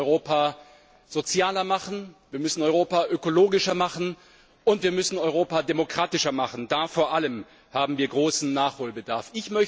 Wir müssen Europa sozialer machen, wir müssen Europa ökologischer machen, und wir müssen Europa demokratischer machen. Da vor allem haben wir großen Nachholbedarf.